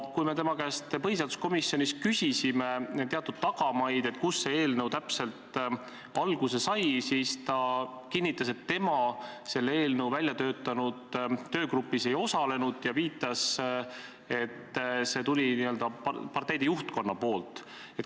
Kui me tema käest põhiseaduskomisjonis küsisime teatud tagamaad, kust see eelnõu täpselt alguse sai, siis ta kinnitas, et tema eelnõu välja töötanud töögrupis ei osalenud, ja viitas, et see tuli n-ö parteide juhtkonna poolt.